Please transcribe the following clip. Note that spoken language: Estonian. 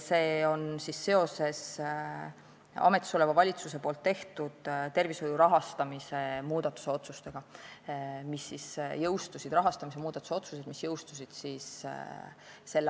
See on seotud ametisoleva valitsuse tehtud tervishoiu rahastamise muudatuse otsustega, mis jõustusid s.